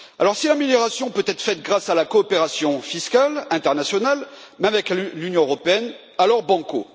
Si l'amélioration peut être réalisée grâce à la coopération fiscale internationale, même avec l'Union européenne, alors banco.